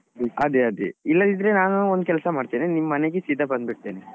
ಅದೆ ಅದೆ ಇಲ್ಲದಿದ್ರೆ ನಾನು ಒಂದ್ ಕೆಲ್ಸ ಮಾಡ್ತೇನೆ ನಿಮ್ ಮನೆಗೆ ಸೀದಾ ಬಂದ್ಬಿಡ್ತೇನೆ.